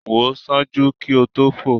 Wo ṣaaju ki o to fo